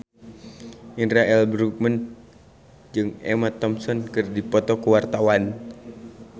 Indra L. Bruggman jeung Emma Thompson keur dipoto ku wartawan